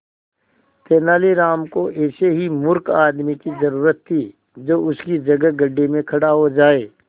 तेनालीराम को ऐसे ही मूर्ख आदमी की जरूरत थी जो उसकी जगह गड्ढे में खड़ा हो जाए